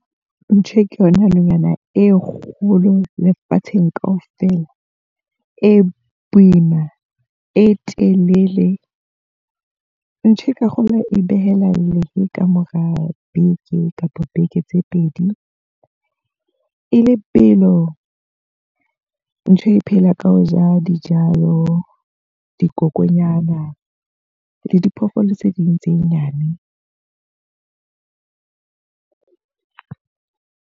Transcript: Mpshe ke yona nonyana e kgolo lefatsheng ka ofela. E boima, e telele. Mpshe ka kgolwa e behela lehe ka mora beke kapo beke tse pedi. E le belo. Mpshe e phela ka ho ja dijalo, dikokonyana le diphoofolo tse ding tse nyane.